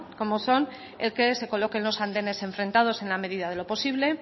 como son el que se coloquen los andenes enfrentados en la medida de lo posible